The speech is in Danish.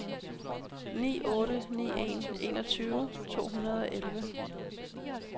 ni otte ni en enogtyve to hundrede og elleve